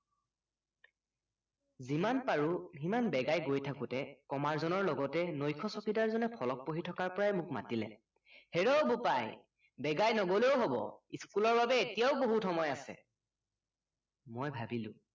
যিমান পাৰো সিমান বেগাই গৈ থাকোতে কমাৰজনৰ লগতে নৈশ চকীদাৰজনে ফলক পঢ়ি থকাৰ পৰাই মোক মাতিলে হেৰ বোপাই বেগাই নগলেও হব স্কুল ৰ বাবে এতিয়াও বহুত সময় আছে মই ভাবিলো